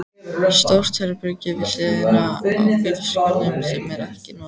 Stórt herbergi við hliðina á bílskúrnum sem er ekkert notað.